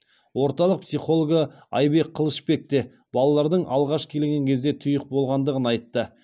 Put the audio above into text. орталық психологы айбек қылышбек те балалардың алғаш келген кезде тұйық болғандығын айтты